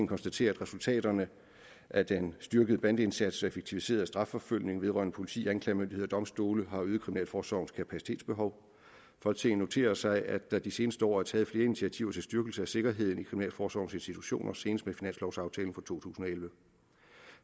konstaterer at resultaterne af den styrkede bandeindsats og effektiviserede strafforfølgning vedrørende politi anklagemyndighed og domstole har øget kriminalforsorgens kapacitetsbehov folketinget noterer sig at der de seneste år er taget flere initiativer til styrkelse af sikkerheden i kriminalforsorgens institutioner senest med finanslovaftalen for to tusind og elleve